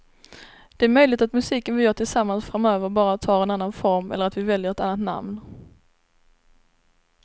Det är möjligt att musiken vi gör tillsammans framöver bara tar en annan form eller att vi väljer ett annat namn.